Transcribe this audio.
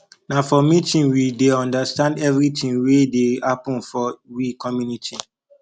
na for community meeting we dey understand everytin wey dey happen for we community